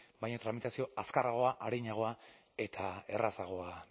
baina tramitazioa azkarragoa arinagoa eta errazagoa